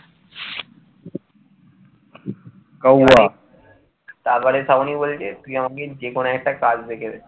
শ্রাবণী বলছে তুই আমাকে যে কোন একটা কাজ দেখে দে,